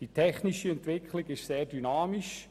Die technische Entwicklung ist sehr dynamisch.